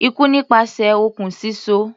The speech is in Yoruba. Ikú nípasẹ̀ okùn síso.